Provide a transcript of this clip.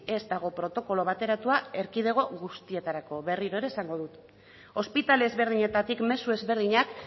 ez dago protokolo bateratua erkidego guztietarako berriro ere esango dut ospitale ezberdinetatik mezu ezberdinak